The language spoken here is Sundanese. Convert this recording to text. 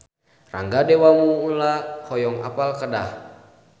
Rangga Dewamoela hoyong apal Kedah